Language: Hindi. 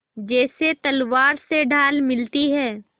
जैसे तलवार से ढाल मिलती है